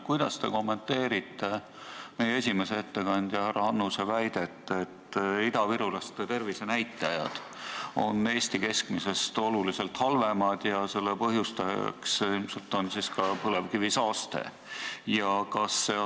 Kuidas te kommenteerite esimese ettekandja härra Annuse väidet, et idavirulaste tervisenäitajad on Eesti keskmisest oluliselt halvemad ja selle põhjustajaks on ilmselt ka põlevkivisaaste?